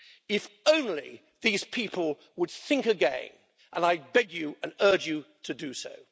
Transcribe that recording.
If only these people would think again, and I beg you and urge you to do so.